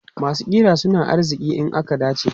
Masu ƙira suna arziki in aka dace.